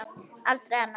Aldrei annað.